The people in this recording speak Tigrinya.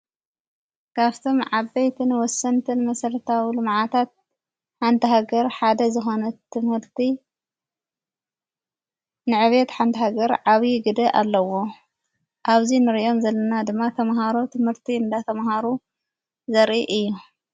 ካፍቶም ዓበይትንወሰንትን መሠለታውሉ መዓታት ሓንተሕገር ሓደ ዝሆነት ትምህርቲ ንዕቤት ሓንታሃገር ዓዊዪዪ ግድ ኣለዎ ኣብዙይ ንርዮም ዘለና ድማ ተምሃሮ ትምህርቲ እንዳ ተምሃሩ ዘሪኢ እዩ።